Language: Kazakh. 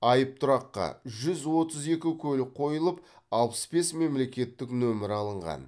айыптұраққа жүз отыз екі көлік қойылып алпыс бес мемлекеттік нөмір алынған